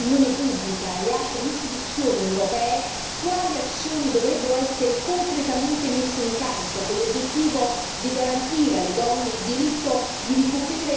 quali azioni dovrebbero essere concretamente messe in campo, con l'obiettivo di garantire alle donne il diritto di ricoprire un ruolo da protagonista nelle nostre società.